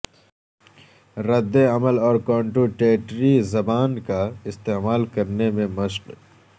رد عمل اور کنٹوٹیٹری زبان کا استعمال کرنے میں مشق